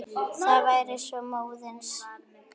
Það væri svo móðins.